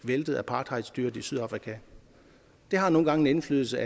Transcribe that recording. væltet apartheidstyret i sydafrika det har nogle gange en indflydelse